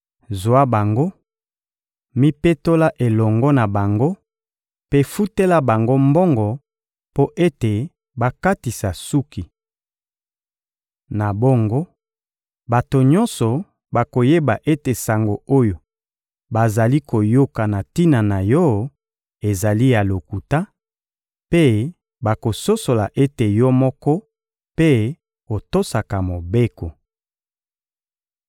Zwa bango, mipetola elongo na bango mpe futela bango mbongo mpo ete bakatisa suki. Na bongo, bato nyonso bakoyeba ete sango oyo bazali koyoka na tina na yo ezali ya lokuta, mpe bakososola ete yo moko mpe otosaka Mobeko.